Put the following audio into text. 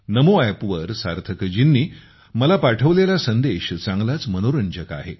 नमो अॅपवर सार्थकजींनी मला पाठवलेला संदेश चांगलाच मनोरंजक आहे